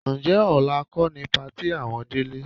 Ǹjẹ́ ọ̀la kọ́ ni patí àwọn Délé?